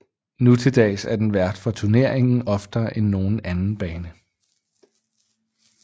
Nutildags er den vært for turneringen oftere end nogen anden bane